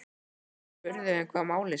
Sævar spurði um hvað málið snerist.